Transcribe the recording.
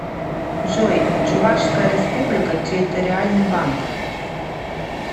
джой чувашская республика территориальный банк